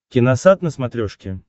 киносат на смотрешке